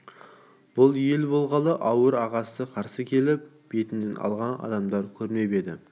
бұл ел болғалы ауыл ағасы қарсы келіп бетінен алған адамды көрмеп еді